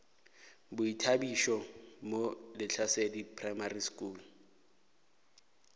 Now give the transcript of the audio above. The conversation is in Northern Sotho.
boithabišo mo lehlasedi primary school